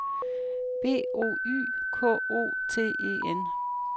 B O Y K O T E N